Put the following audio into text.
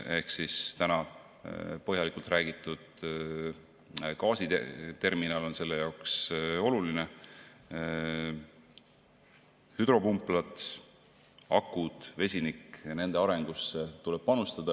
Ka täna põhjalikult räägitud gaasiterminal on selle jaoks oluline, samuti hüdropumplad, akud ja vesinik – nende arengusse tuleb samuti panustada.